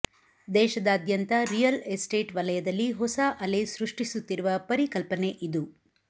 ದೇಶದಾದ್ಯಂತ real estate ವಲಯದಲ್ಲಿ ಹೊಸ ಅಲೆ ಸೃಷ್ಟಿಸುತ್ತಿರುವ ಪರಿಕಲ್ಪನೆ ಇದು